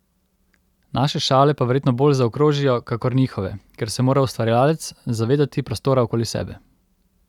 Naše šale pa verjetno bolj zaokrožijo kakor njihove, ker se mora ustvarjalec zavedati prostora okoli sebe.